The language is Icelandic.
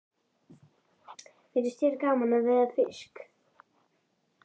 Finnst þér gaman að veiða fisk?